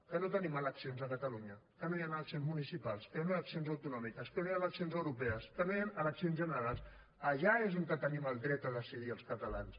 que no tenim eleccions a catalunya que no hi han eleccions municipals que no hi han eleccions autonòmiques que no hi han eleccions europees que no hi han eleccions generals allà és on tenim el dret a decidir els catalans